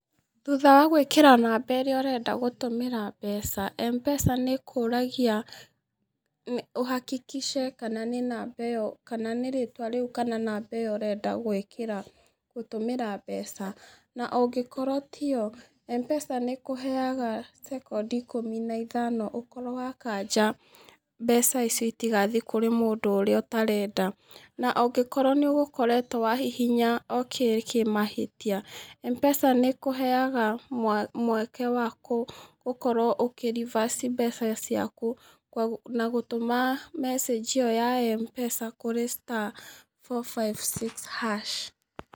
Thutha wa gwĩkĩra namba ĩrĩa ũrenda gũtũmĩra mbeca M-pesa nĩ ĩkũragia ũhakikice kana nĩ namba iyo kana nĩ rĩtwa rĩu kana namba iyo ũrenda gwĩkĩra gũtũmĩra mbeca. Na ũngĩkorwo tiyo M-pesa nĩ ĩkũheaga cekondi ikumi na ithano ũkorwo wakanja mbeca icio itigathiĩ kũrĩ mũndũ ũtarenda, na ũngĩkorwo nĩ ũgũkoretwo wahihinya ok kĩmahĩtia, M-pesa nĩ ĩkũheaga mweke wa gũkorwo ũkĩ reverse mbeca ciaku na gũtũma mecĩnji iyo ya M-pesa kuri star four five six hash.